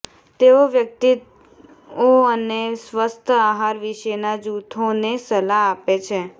તેઓ વ્યક્તિઓ અને સ્વસ્થ આહાર વિશેના જૂથોને સલાહ આપે છે